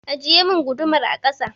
Ajiyemin gudumar a kasa!